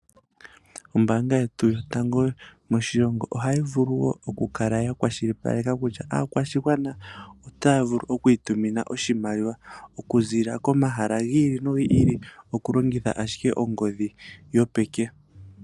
Ombaanga yetu yotango moshilongo ohayi vulu woo okukala yakwashilipaleka kutya aakwashigwana otaya vulu okwiitumina oshimaliwa okuziilila komahala gi ili nogi ili okulongitha asiike ongodhi yopeke.